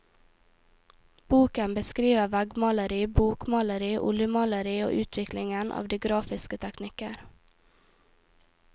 Boken beskriver veggmaleri, bokmaleri, oljemaleri og utviklingen av de grafiske teknikker.